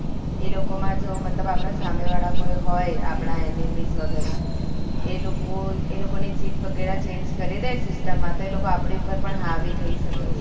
એલોકો માં તો મતલબ આપડે સામે વાળા કોઈ હોય આપડા enemy વગેરા એ લોકો એલોકો ની જીદ વગરે change કરી દે system માં તો એ લોકો આપડા ઉપર હાવી થઇ સકે છે